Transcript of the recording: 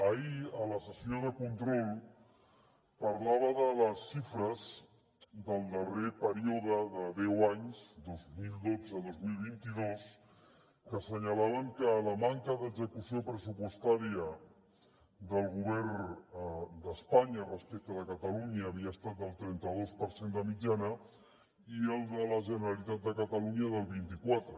ahir a la sessió de control parlava de les xifres del darrer període de deu anys dos mil dotze dos mil vint dos que assenyalaven que la manca d’execució pressupostària del govern d’espanya respecte de catalunya havia estat del trenta dos per cent de mitjana i el de la generalitat de catalunya del vint i quatre